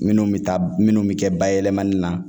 Minnu bɛ taa minnu bɛ kɛ bayɛlɛmali na